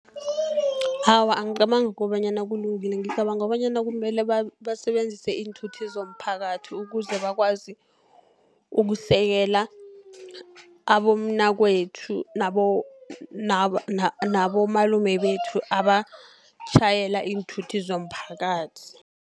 Awa angicabangi kobanyana kulungile, ngicabanga bonyana kumele basebenzise iinthuthi zomphakathi, ukuze bakwazi ukusekela abomnakwethu, nabomalume bethu abatjhayela iinthuthi zomphakathi.